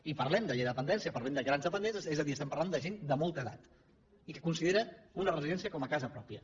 i parlem de llei de dependència parlem de grans dependents és a dir estem parlant de gent de molta edat i que considera una residència com a casa pròpia